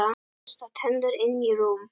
Bursta tennur, inn í rúm.